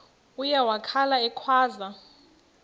uye wakhala ekhwaza